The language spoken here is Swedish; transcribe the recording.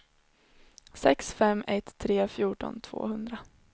sex fem ett tre fjorton tvåhundra